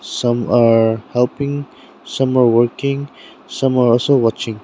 Some are helping some are working some are also watching.